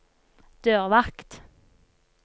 dørvakt